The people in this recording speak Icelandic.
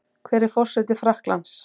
Hver er forseti Frakklands?